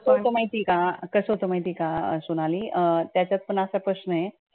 कसं असतं माहिती का कसं होतं माहिती का, सोनाली त्याच्यात पण असा प्रश्न ए